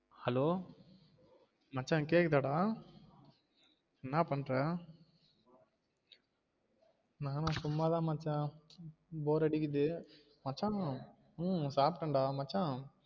Hello மச்சான் கேக்குதாடா? என்ன பண்ற நா சும்மாத மச்சா bore அடிக்குது மச்சா உம் சாப்டேன்டா மச்சான்